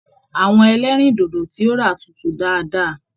Àwọn ẹlẹrindodo tí o rà tútù dáadáa.